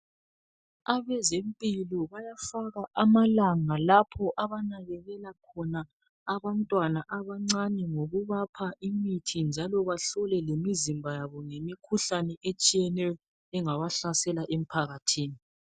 Abezempilo bayafaka amalanga lapho abanakekela khona abantwana abancane ngokubapha imithi njalo bahlole lemizimba yabo ngemikhuhlane etshiyeneyo engabahlasela emphakathini.